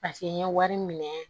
Paseke n ye wari minɛ